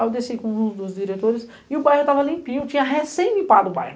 Aí eu desci com um dos diretores e o bairro estava limpinho, tinha recém-limpado o bairro.